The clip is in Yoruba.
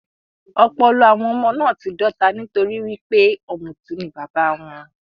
Ọpọlọ àwọn ọmọ náà ti dọ́ta nitori wípé ọmuti ni bàbá wọn.